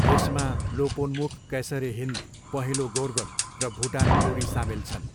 यसमा लोपोन्मुख कैसर इ हिन्द, पहेँलो गोर्गोन र भुटान ग्लोरी सामेल छन्।